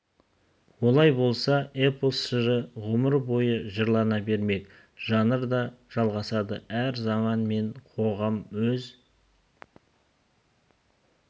олай болса эпос жыры ғұмыр бойы жырлана бермек жанр да жалғасады әр заман мен қоғам өз